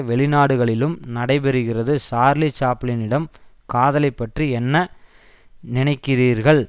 வெளிநாடுகளிலும் நடைபெறுகிறது சார்லி சாப்ளினிடம் காதலை பற்றி என்ன நினைக்கிறீர்கள்